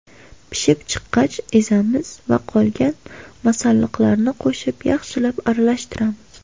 Pishib chiqqach, ezamiz va qolgan masalliqlarni qo‘shib yaxshilab aralashtiramiz.